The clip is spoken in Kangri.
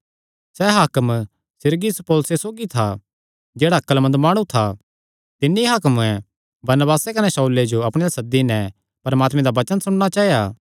सैह़ हाकम सिरगियुस पौलुसे सौगी था जेह्ड़ा अक्लमंद माणु था तिन्नी हाकमे बरनबासे कने शाऊले जो अपणे अल्ल सद्दी नैं परमात्मे दा वचन सुणना चाया